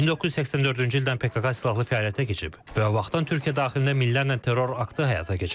1984-cü ildən PKK silahlı fəaliyyətə keçib və o vaxtdan Türkiyə daxilində minlərlə terror aktı həyata keçirib.